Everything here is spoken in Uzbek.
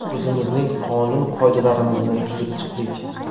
O‘zimizning qonun-qoidalarimizni tuzib chiqdik.